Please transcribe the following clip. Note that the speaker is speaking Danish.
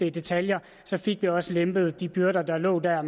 i detaljer så fik vi også lempet de byrder der lå der